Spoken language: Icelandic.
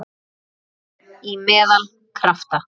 Fín- Í meðal- Krafta